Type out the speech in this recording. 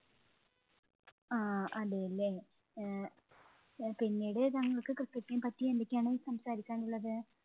ആഹ് അതേല്ലേ, ഏർ പിന്നീട് താങ്കള്‍ക്ക് cricket ഇനെ പറ്റി എന്തൊക്കെയാണ് സംസാരിക്കാന്‍ ഉള്ളത്?